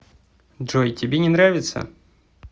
джой тебе не нравится